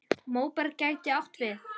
Móberg gæti átt við